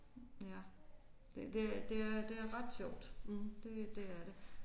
Ja det det er det er det er ret sjovt. Det det er det